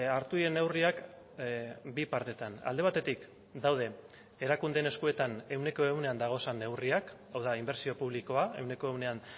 hartu diren neurriak bi partetan alde batetik daude erakundeen eskuetan ehuneko ehunean dauden neurriak hau da inbertsio publikoa ehuneko ehunean